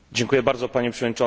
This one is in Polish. Panie Przewodniczący!